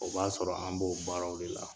O b'a sɔrɔ an b'o baaraw de la